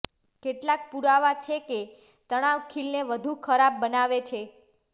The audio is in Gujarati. કેટલાક પુરાવા છે કે તણાવ ખીલને વધુ ખરાબ બનાવે છે